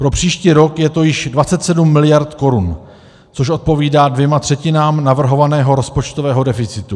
Pro příští rok je to již 27 mld. korun, což odpovídá dvěma třetinám navrhovaného rozpočtového deficitu.